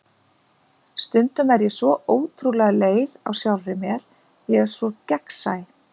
Stundum er ég svo ótrúlega leið á sjálfri mér, ég er svo gegnsæ.